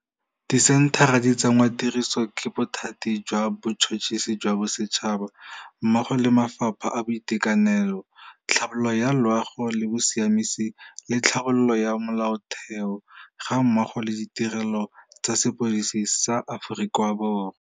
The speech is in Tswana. Disenthara di tsenngwatirisong ke Bothati jwa Botšhotšhisi jwa Bosetšhaba, mmogo le mafapha a Boiteka nelo, Tlhabololo ya Loago le Bosiamisi le Tlhabololo ya Molaotheo, gammogo le Ditirelo tsa Sepodisi sa Aforika Borwa.